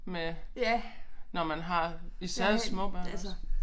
Med når man har stadig små børn også